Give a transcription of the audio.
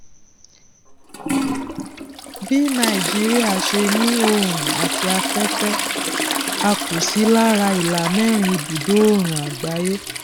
bí nàìjíría ṣe ní òòrùn àti afẹfẹ a kò sí lára ìlàmẹrin ibùdo òòrùn àgbáyé